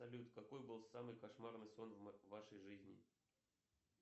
салют какой был самый кошмарный сон в вашей жизни